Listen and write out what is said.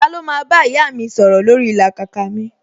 Ta ló máa bá ìyá mi sọ̀rọ̀ lórí ìlàkàkà mi